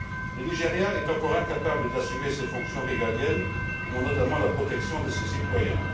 Le Nigeria est encore incapable d'assumer ses fonctions régaliennes, dont notamment la protection de ses citoyens.